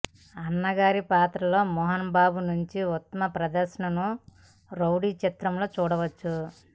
అన్నగారి పాత్రలో మోహన్ బాబు నుంచి ఉత్తమ ప్రదర్శనను రౌడీ చిత్రంలో చూడవచ్చు